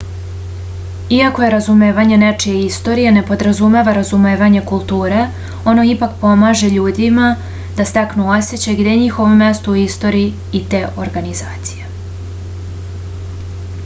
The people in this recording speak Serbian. iako razumevanje nečije istorije ne podrazumeva razumevanje kulture ono ipak pomaže ljudima da steknu osećaj gde je njihovo mesto u istoriji te organizacije